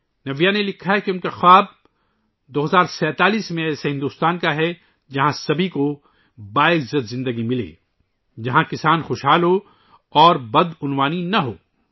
نَویا نے لکھا ہے کہ 2047 ء میں ، ان کا خواب ایک ایسے بھارت کا ہے ، جہاں ہر ایک کو باوقار زندگی ملے، جہاں کسان خوشحال ہوں اور کرپشن نہ ہو